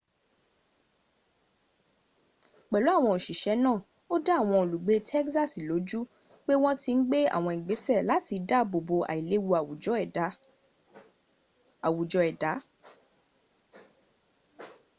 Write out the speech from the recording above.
pelu awon osise naa o da awon olugbe tegsasi loju pe won ti n gbe awon igbese lati daabo bo ailewu awujo eda